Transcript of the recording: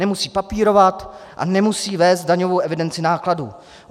Nemusí papírovat a nemusí vést daňovou evidenci nákladů.